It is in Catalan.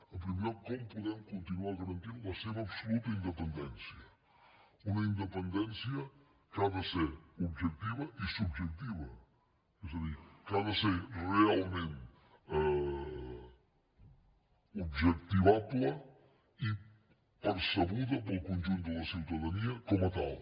en primer lloc com podem continuar garantint la seva absoluta independència una independència que ha de ser objectiva i subjectiva és a dir que ha de ser realment objectivable i percebuda pel conjunt de la ciutadania com a tal